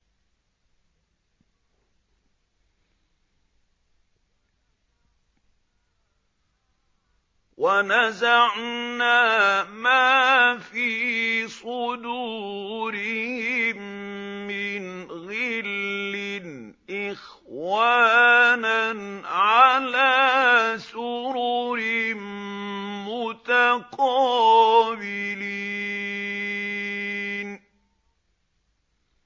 وَنَزَعْنَا مَا فِي صُدُورِهِم مِّنْ غِلٍّ إِخْوَانًا عَلَىٰ سُرُرٍ مُّتَقَابِلِينَ